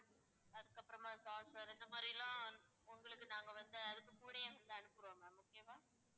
அதுக்கப்புறமா saucer இந்த மாதிரிலாம் உங்களுக்கு நாங்க வந்து அதுக்கு கூடவே அனுப்புறோம் ma'am okay வா